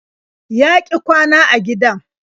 Ya ƙi kwana a gidan.